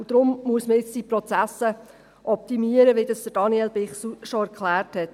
Deshalb muss man die Prozesse jetzt optimieren, wie Daniel Bichsel bereits erklärte.